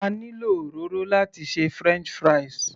A ní lo òróró láti ṣe french fries